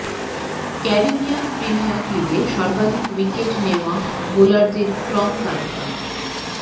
Caribbean premier লিগে সর্বাধিক wicket নেওয়া বোলারদের ক্রম তালিকা